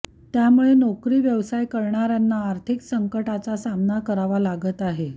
त्यामुळे नोकरी व्यवसाय करण्याऱ्यांना आर्थिक संकटांचा सामना करावा लागत आहे